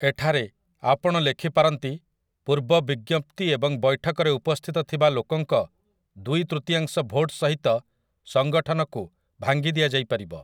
ଏଠାରେ, ଆପଣ ଲେଖିପାରନ୍ତି, 'ପୂର୍ବ ବିଜ୍ଞପ୍ତି ଏବଂ ବୈଠକରେ ଉପସ୍ଥିତ ଥିବା ଲୋକଙ୍କ ଦୁଇ ତୃତୀୟାଂଶ ଭୋଟ୍ ସହିତ ସଙ୍ଗଠନକୁ ଭାଙ୍ଗି ଦିଆ ଯାଇପାରିବ' ।